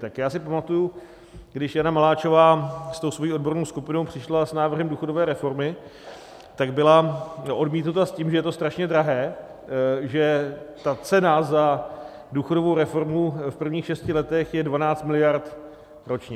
Tak já si pamatuji, když Jana Maláčová s tou svou odbornou skupinou přišla s návrhem důchodové reformy, tak byla odmítnuta s tím, že je to strašně drahé, že ta cena za důchodovou reformu v prvních šesti letech je 12 miliard ročně.